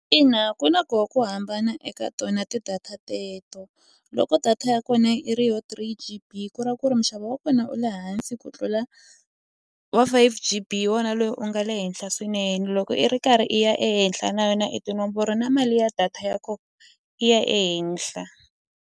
Ina ku na ko ku hambana eka tona ti-data teto loko data ya kona i ri yo three g_b ku ra ku ri munxavo wa kona wu le hansi ku tlula wa five g_b hi wona loyi u nga le henhla swinene loko i ri karhi i ya ehenhla na yona i tinomboro na mali ya data ya kona yi ya ehenhla.